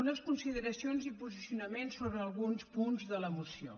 unes consideracions i posicionaments sobre alguns punts de la moció